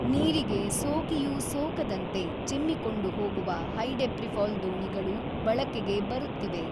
ನೀರಿಗೆ ಸೋಕಿಯೂ ಸೋಕದಂತೆ ಚಿಮ್ಮಿಕೊಂಡು ಹೋಗುವ ಹೈಡೆಪ್ರೀಫಾಲ್ ದೋಣಿಗಳೂ ಬಳಕೆಗೆ ಬರುತ್ತಿವೆ.